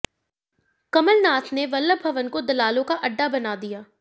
कमलनाथ ने वल्लभ भवन को दलालों का अड्डा बना दिया